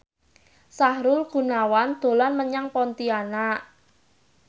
Sahrul Gunawan dolan menyang Pontianak